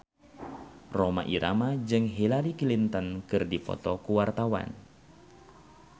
Rhoma Irama jeung Hillary Clinton keur dipoto ku wartawan